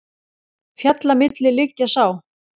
Fjalla milli liggja sá.